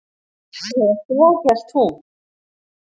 Eða svo hélt hún.